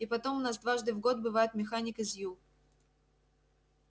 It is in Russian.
и потом у нас дважды в год бывает механик из ю